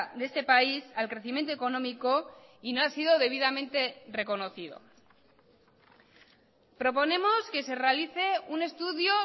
de este país al crecimiento económico y no ha sido debidamente reconocido proponemos que se realice un estudio